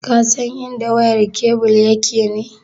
Ka san idan wayar kebul yake ne?